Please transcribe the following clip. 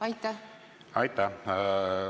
Aitäh!